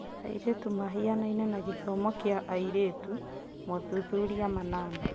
Airĩtu mahianaine na gĩthomo kĩa airĩtu (mothuthuria manana)